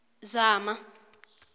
zama